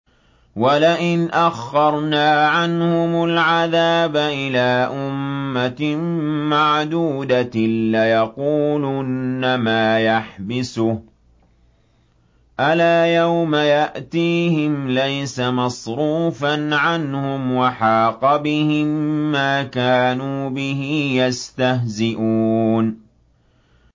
وَلَئِنْ أَخَّرْنَا عَنْهُمُ الْعَذَابَ إِلَىٰ أُمَّةٍ مَّعْدُودَةٍ لَّيَقُولُنَّ مَا يَحْبِسُهُ ۗ أَلَا يَوْمَ يَأْتِيهِمْ لَيْسَ مَصْرُوفًا عَنْهُمْ وَحَاقَ بِهِم مَّا كَانُوا بِهِ يَسْتَهْزِئُونَ